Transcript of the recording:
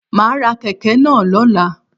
Ma á ra kèké náà lọ́la